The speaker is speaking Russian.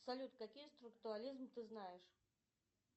салют какие структуализм ты знаешь